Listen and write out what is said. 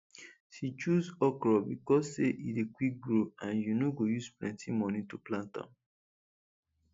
she choose okro becos say e dey quick grow and you no go use plenty money to plant am